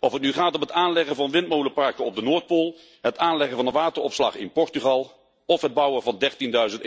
Of het nu gaat om het aanleggen van windmolenparken op de Noordpool, het aanleggen van een wateropslag in Portugal of het bouwen van dertienduizend